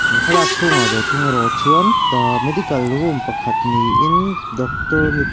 he thlalak chhungah ve thung erawh chuan the medical room pakhat niin doctor mipa--